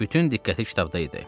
Bütün diqqəti kitabda idi.